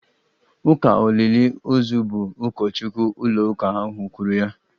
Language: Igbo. Ụka olili ozu bụ ụkọchukwu ụlóụka ahu kwuru ya